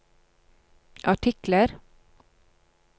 artikler